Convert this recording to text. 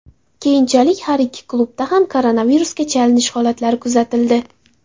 Keyinchalik har ikki klubda ham koronavirusga chalinish holatlari kuzatildi.